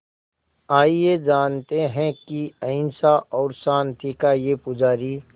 आइए जानते हैं कि अहिंसा और शांति का ये पुजारी